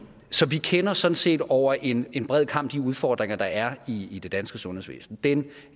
så vi kender sådan set over en en bred kam de udfordringer der er i i det danske sundhedsvæsen den